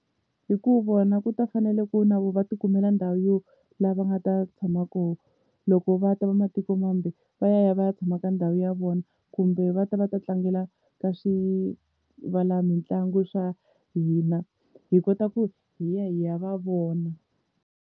Hi ku vona ku ta fanele ku na vo va tikumela ndhawu yo laha nga ta tshama kona loko va ta va matiko mambe va ya va ya tshama ka ndhawu ya vona, kumbe va ta va ta tlangela ka swivala mitlangu swa hina hi kota ku hi ya hi ya va vona.